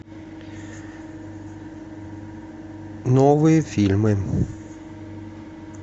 новые фильмы